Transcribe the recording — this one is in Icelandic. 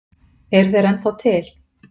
Eru þeir ennþá til?